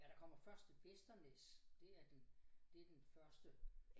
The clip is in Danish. Ja der kommer først Vesternæs det er den det den første